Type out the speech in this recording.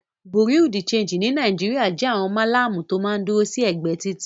Bùréáù de ṣéńjì ní Nàìjíríà jẹ́ àwọn Málàmù tó máa ń dúró sí ẹ̀gbẹ́ títì.